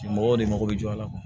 Mɔgɔw de mago bɛ jɔ a la